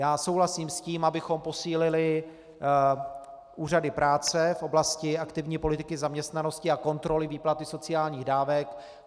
Já souhlasím s tím, abychom posílili úřady práce v oblasti aktivní politiky zaměstnanosti a kontroly výplaty sociálních dávek.